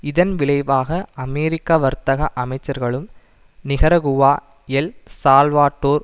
இதன் விளைவாக அமெரிக்க வர்த்தக அமைச்சர்களும் நிகரகுவா எல் சால்வட்டோர்